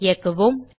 இயக்குவோம்